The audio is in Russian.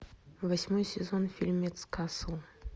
восьмой сезон фильмец касл